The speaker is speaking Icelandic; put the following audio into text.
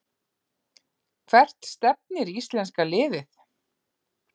Hvert stefnir íslenska liðið